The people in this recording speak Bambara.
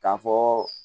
K'a fɔ